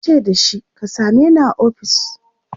yace da shi " ka sameni a ofis!"